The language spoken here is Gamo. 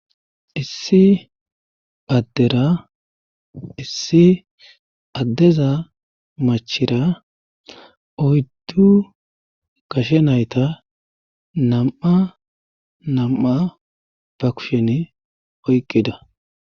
issi baddera issi addeza machira oyddu kashe nayta nam7a nam7a ba kushen oyqqida